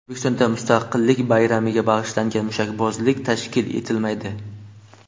O‘zbekistonda Mustaqillik bayramiga bag‘ishlangan mushakbozlik tashkil etilmaydi.